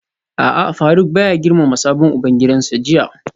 A'a Faruk baya girmama sabon ubangidansa jiya